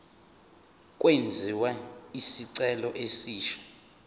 kwenziwe isicelo esisha